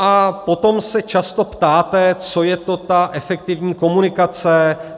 A potom se často ptát, co je to ta efektivní komunikace.